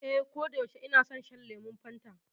Ee, koda yaushe ina son shan lemon Fanta.